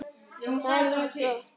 Það er mjög flott.